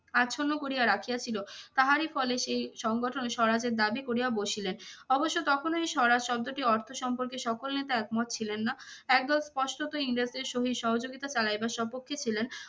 আচ্ছন্ন করিয়া রাখিয়া ছিল। তাহারই ফলে সেই সংগঠন স্বরাজের দাবি করিয়া বসিলেন। অবশ্য তখন এই স্বরাজ শব্দটির অর্থ সম্পর্কে সকল নেতা একমত ছিলেন না। একদল স্পষ্টতই ইংরেজদের সহিত সহযোগিতা চালাইবার স্বপক্ষে ছিলেন।